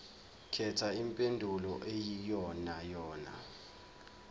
khetha impendulo eyiyonayona